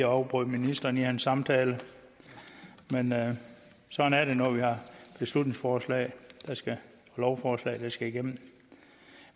afbrød ministeren i hans samtale men sådan er det når vi har beslutningsforslag eller lovforslag der skal igennem